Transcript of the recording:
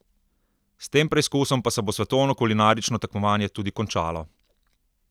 S tem preizkusom pa se bo svetovno kulinarično tekmovanje tudi končalo.